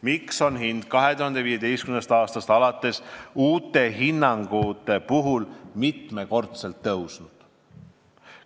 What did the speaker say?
Miks on hind 2015. aastast alates uute hinnangute puhul mitmekordselt tõusnud?